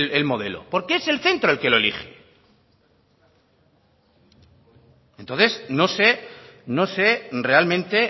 el modelo porque es el centro el que lo elige entonces no sé realmente